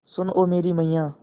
सुन ओ मेरी मैय्या